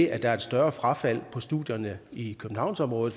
er et større frafald på studierne i købehavnsområdet